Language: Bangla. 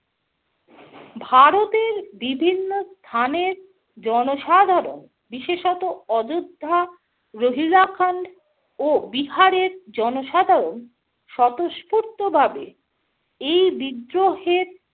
ভারতের বিভিন্ন স্থানের জনসাধারণ বিশেষত অযোধ্যা, রোহিলা-খন্ড ও বিহারের জনসাধারণ স্বতঃস্ফূর্তভাবে এই বিদ্রোহে